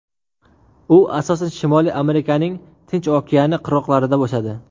U asosan Shimoliy Amerikaning Tinch okeani qirg‘oqlarida o‘sadi.